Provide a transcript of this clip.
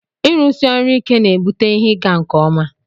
ịrụsi ọrụ ike na-ebute ihe ịga nke ọma